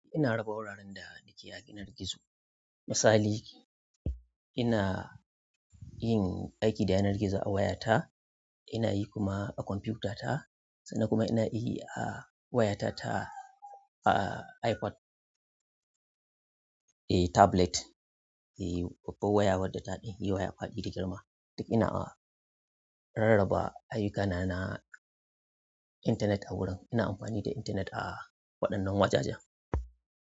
Ina raba wuraren da nake yi a yanar gizo. Misali, ina yin aiki da yanar gizo a wayata, ina yi kuma a computer ta sannan kuma ina yi a wayata ta, a iPad, eh tablet, eh, babban waya wadda tafi waya faɗi da girma. Duk ina a rarraba ayyukana na intanet a wurin. Ina amfani da intanet a waɗannan wajajen.